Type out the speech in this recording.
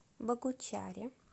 богучаре